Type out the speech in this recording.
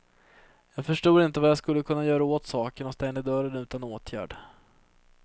Jag förstod inte vad jag skulle kunna göra åt saken och stängde dörren utan åtgärd.